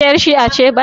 Ke yar' shi'a ce?